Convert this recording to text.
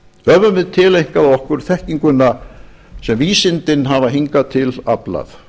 höfum við tileinkað okkur þekkinguna sem vísindin hafa hingað til aflað